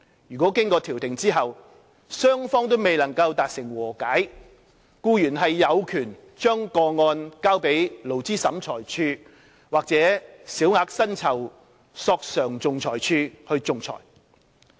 如經調停後雙方未能達成和解，僱員有權將個案交予勞資審裁處或小額薪酬索償仲裁處仲裁。